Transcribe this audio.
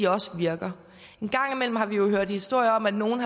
også virker en gang imellem har vi jo hørt historier om at nogle